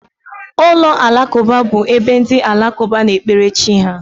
Ụlọ alakụba bụ ebe ndị alakụba na-ekpere chi ha